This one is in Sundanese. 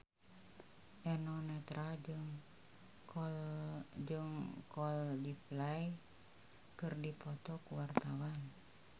Eno Netral jeung Coldplay keur dipoto ku wartawan